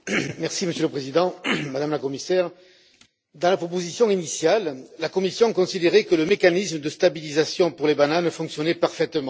Monsieur le Président, Madame la Commissaire, dans la proposition initiale, la Commission considérait que le mécanisme de stabilisation pour les bananes fonctionnait parfaitement.